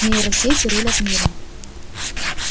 нейросети рулят миром